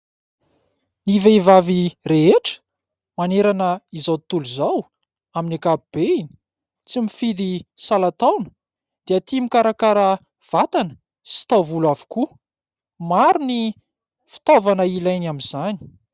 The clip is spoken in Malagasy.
Ny vehivavy rehetra manerana izao tontolo izao, amin'ny ankapobeny, tsy mifidy salan_taona dia tia mikarakara vatana sy taovolo avokoa. Maro ny fitaovana hilainy amin'izany.